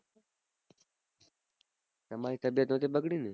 તમારી તબીયત સાથે બગડી